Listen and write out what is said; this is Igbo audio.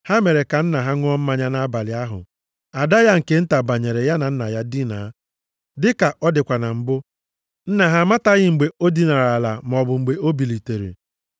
Ha mere ka nna ha ṅụọ mmanya nʼabalị ahụ, ada ya nke nta banyere ya na nna ya dinaa. Dịka ọ dịkwa na mbụ, nna ha amataghị mgbe o dinara ala maọbụ mgbe o bilitere.